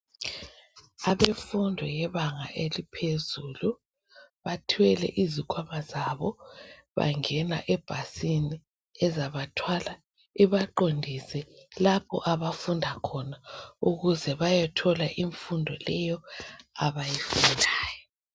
Abemfundo yebanga eliphezulu bathwele izikhwama zabo bangena ebhasini ezabathwala ibaqondise lapho abafunda khona ukuze bayethola imfundo leyo abayidingayo.